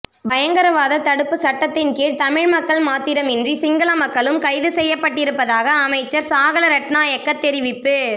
பயங்கரவாத தடுப்பு சட்டத்தின் கீழ் தமிழ் மக்கள் மாத்திரமன்றி சிங்கள மக்களும் கைது செய்யப்பட்டிருப்பதாக அமைச்சர் சாகல ரட்நாயக்க தெரிவிப்பு